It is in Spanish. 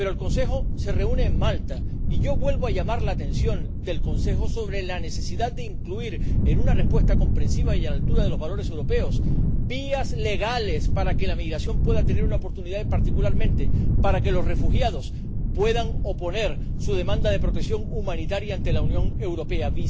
Pero el Consejo se reúne en Malta y yo vuelvo a llamar la atención del Consejo sobre la necesidad de incluir, en una respuesta comprensiva y a la altura de los valores europeos, vías legales para que la inmigración pueda tener una oportunidad y, particularmente, para que los refugiados puedan oponer su demanda de protección humanitaria ante la Unión Europea.